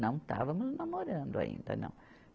Não estávamos namorando ainda, não.